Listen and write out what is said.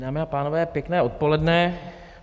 Dámy a pánové, pěkné odpoledne.